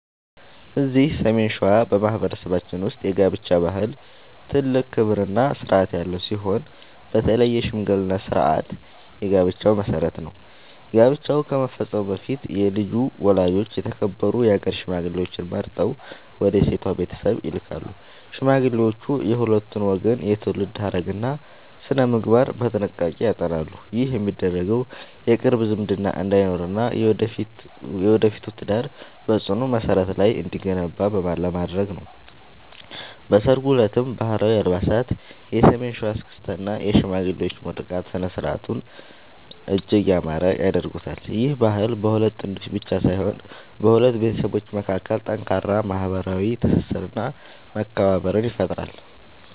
እዚህ ሰሜን ሸዋ በማኅበረሰባችን ውስጥ የጋብቻ ባህል ትልቅ ክብርና ሥርዓት ያለው ሲሆን፣ በተለይ የሽምግልና ሥርዓት የጋብቻው መሠረት ነው። ጋብቻ ከመፈጸሙ በፊት የልጁ ወላጆች የተከበሩ የአገር ሽማግሌዎችን መርጠው ወደ ሴቷ ቤተሰብ ይልካሉ። ሽማግሌዎቹ የሁለቱን ወገን የትውልድ ሐረግና ሥነ-ምግባር በጥንቃቄ ያጠናሉ። ይህ የሚደረገው የቅርብ ዝምድና እንዳይኖርና የወደፊቱ ትዳር በጽኑ መሠረት ላይ እንዲገነባ ለማድረግ ነው። በሠርጉ ዕለትም ባህላዊ አልባሳት፣ የሰሜን ሸዋ እስክስታ እና የሽማግሌዎች ምርቃት ሥነ-ሥርዓቱን እጅግ ያማረ ያደርጉታል። ይህ ባህል በሁለት ጥንዶች ብቻ ሳይሆን በሁለት ቤተሰቦች መካከል ጠንካራ ማኅበራዊ ትስስርና መከባበርን ይፈጥራል።